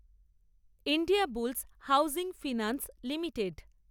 India bull's Housing Finance limited